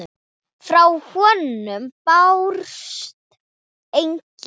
Frá honum bárust engin hljóð.